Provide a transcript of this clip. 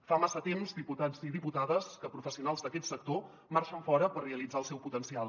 fa massa temps diputats i diputades que pro·fessionals d’aquest sector marxen fora per realitzar el seu potencial